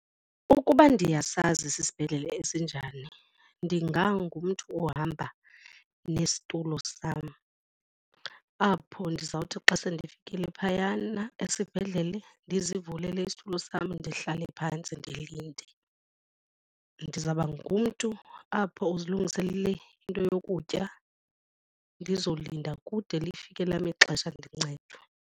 Ukuba ndiyasazi sisibhedlele esinjani ndingangumntu ohamba nesitulo sam apho ndizawuthi xa sendifikile phayana esibhedlele ndizivulele isithulu sam ndihlale phantsi ndilinde. Ndizawuba ngumntu apho uzilungiselele into yokutya ndizolinda kude lifike lam ixesha ndincedwe.